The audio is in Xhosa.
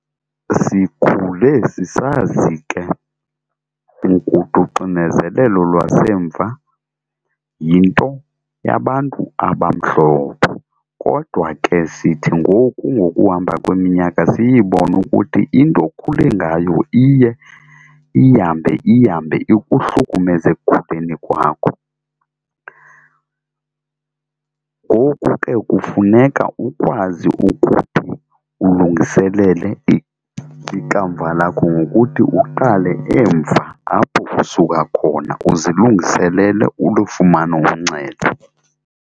Sikhule sisazi ke uxinezelelo lwasemva yinto yabantu abamhlophe, kodwa ke sithi ngoku ngokuhamba kweminyaka siyibone ukuthi into okhule ngayo iye ihambe ihambe ikuhlukumeze ekukhuleni kwakho. Ngoku ke kufuneka ukwazi ukuthi ulungiselele ikamva lakho ngokuthi uqale emva apho usuka khona uzilungiselele ulufumane uncedo.